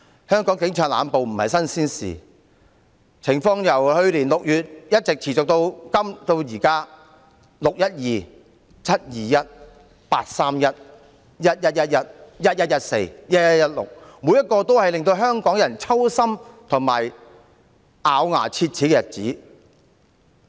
香港警察濫捕不是新鮮事，情況由去年6月一直持續至今，"六一二"、"七二一"、"八三一"、"一一一一"、"一一一四"、"一一一六"，這些日子都令香港人揪心及咬牙切齒。